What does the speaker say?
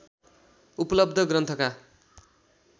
उपलब्ध ग्रन्थका